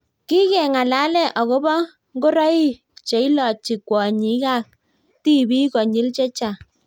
kikeng'alale akobo ngoroik cheilochi kwonyik ak tibik konyil chechang